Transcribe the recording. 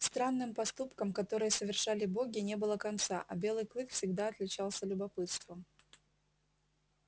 странным поступкам которые совершали боги не было конца а белый клык всегда отличался любопытством